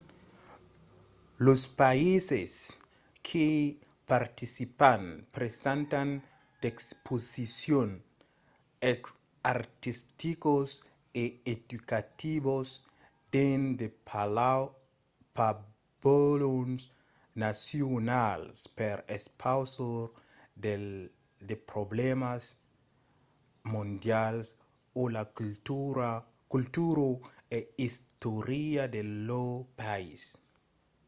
los païses qu'i participan presentan d'exposicions artisticas e educativas dins de pabalhons nacionals per expausar de problèmas mondials o la cultura e istòria de lor país